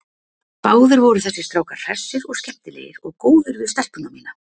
Báðir voru þessir strákar hressir og skemmtilegir og góðir við stelpuna mína.